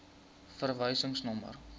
verwysingsnommer